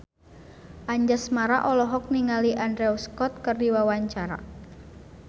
Anjasmara olohok ningali Andrew Scott keur diwawancara